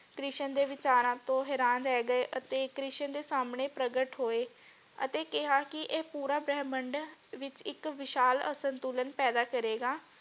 ਕ੍ਰਿਸ਼ਨ ਦੇ ਵਿਚਾਰਾਂ ਤੋਂ ਹੈਰਾਨ ਰਹਿ ਗਏ ਅਤੇ ਕ੍ਰਿਸ਼ਨ ਦੇ ਸਾਮਣੇ ਪ੍ਰਗਟ ਹੋਏ ਅਤੇ ਕਿਹਾ ਕਿ ਇਹ ਪੂਰਾ ਬ੍ਰਹਮੰਡ ਵਿਚ ਇਕ ਵਿਸ਼ਾਲ ਅਸੰਤੁਲਨ ਪੈਦਾ ਕਰੇਗਾ।